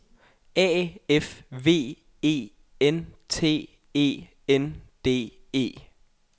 A F V E N T E N D E